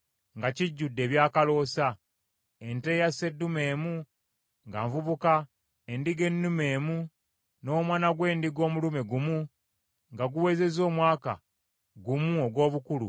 ente eya sseddume emu nga nvubuka, endiga ennume emu, n’omwana gw’endiga omulume gumu nga guwezezza omwaka gumu ogw’obukulu, olw’ekiweebwayo ekyokebwa;